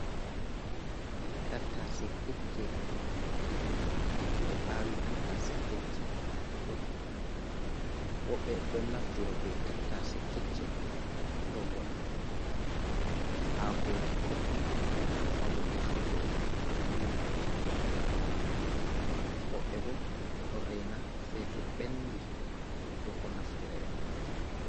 Tattase kecce ɓe awi tattase kecce fuɗi, woɓɓe ɗon naftiro be tattase kecce ngam waɗuku hakoji godɗum, mabo defrugo nyamduji goɗɗi, woɓɓe bo ɗon reina sei to ɓenɗi ɗoko naftira e majum.